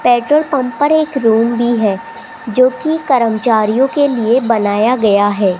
Petrol pump पर एक room भी है जो कि कर्मचारियों के लिए बनाया गया है।